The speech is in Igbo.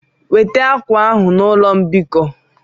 Weta akwa ahụ na ụlọ mbikọ!